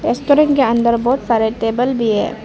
Restaurant के अंदर बहुत सारे टेबल भी हैं।